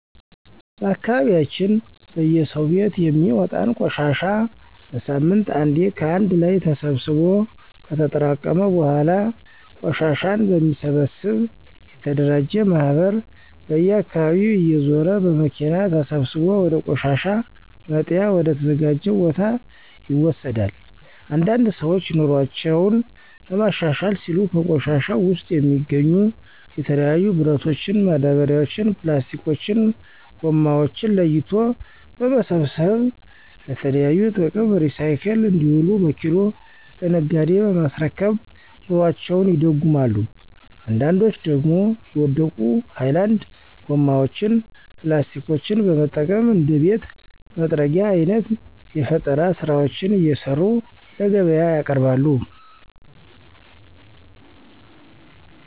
በአካባቢያችን በየሰው ቤት የሚወጣን ቆሻሻ በሳምንት አንዴ ከአንድ ላይ ተሰብስቦ ከተጠራቀመ በኃላ ቆሻሻን በሚሰበሰብ የተደራጀ ማህበር በየአካባቢው እየዞረ በመኪና ተሰብስቦ ወደ ቆሻሻ መጣያ ወደ ተዘጀው ቦታ ይወሰዳል። አንዳንድ ሰዎች ኑሮአቸውን ለማሻሻል ሲሉ ከቆሻሻው ውስጥ የሚገኙ የተለያዩ ብረቶችን፣ ማዳበሪያዎችን፣ ፕላስቲኮችን(ጎማዎችን) ለይቶ በመሰብሰብ ለተለያዩ ጥቅም ሪሳይክል እንዲውሉ በኪሎ ለነጋዴ በማስረከብ ኑሮአቸውን ይደጉማሉ አንዳንዶች ደግሞ የወደቁ ሀይላንድ ጎማዎችን (ፕላስቲኮችን) በመጠቀም እንደ ቤት መጥረጊያ አይነት የፈጠራ ስራዎችን እየሰሩ ለገቢያ ያቀርባሉ።